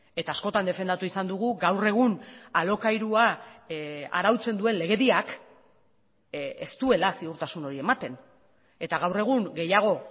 eta askotan defendatu izan dugu gaur egun alokairua arautzen duen legediak ez duela ziurtasun hori ematen eta gaur egun gehiago